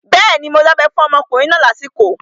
Bẹ́ẹ̀ni, mo dábẹ́ fún ọmọkùnrin náà lásìkò